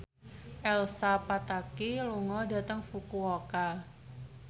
Elsa Pataky lunga dhateng Fukuoka